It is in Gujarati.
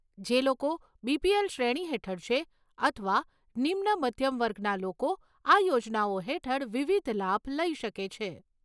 જે લોકો બીપીએલ શ્રેણી હેઠળ છે, અથવા નિમ્ન મધ્યમ વર્ગના લોકો આ યોજનાઓ હેઠળ વિવિધ લાભ લઈ શકે છે.